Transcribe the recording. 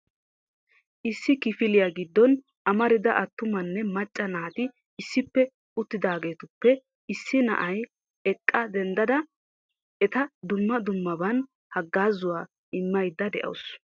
issi kifiliyaa giddon amarida attumanne macca naati issippe uttidaagetuppe issi na'iyaa eqqa denddada eta dumma dummaban haggaazzuwa immaydda de'awus .